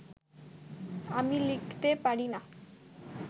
আমি লিখতে পারি না